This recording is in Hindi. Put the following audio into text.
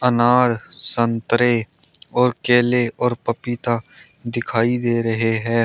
अनार संतरे और केले और पपीता दिखाई दे रहे हैं।